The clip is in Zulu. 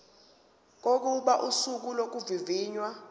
kokuba usuku lokuvivinywa